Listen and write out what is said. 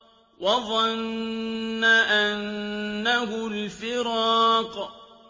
وَظَنَّ أَنَّهُ الْفِرَاقُ